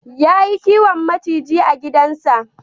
Yayi kiwon maciji a gidansa.